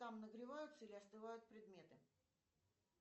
там нагреваются или остывают предметы